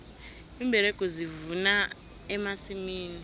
iimberegi zivuna emasimini